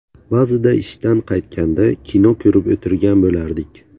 Ba’zida ishdan qaytganda, kino ko‘rib o‘tirgan bo‘lardik.